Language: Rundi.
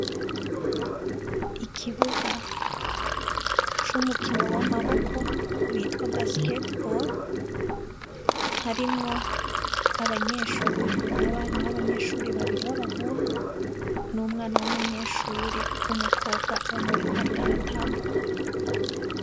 Ikibuga cumukino wamaboko witwa basketball harimwo abana babanyeshure babiri babahungu numwana wumunyeshure wumukobwa umwe ariko aratambuka